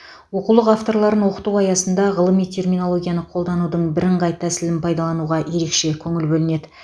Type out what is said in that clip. оқулық авторларын оқыту аясында ғылыми терминологияны қолданудың бірыңғай тәсілін пайдалануға ерекше көңіл бөлінеді